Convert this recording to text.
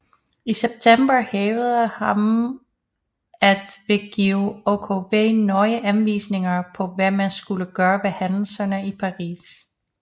I september hævdede hanm at han ville give OKW nøje anvisninger på hvad man skulle gøre ved hændelserne i Paris